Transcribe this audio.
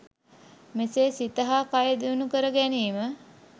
මෙසේ සිත හා කය දියුණු කර ගැනීම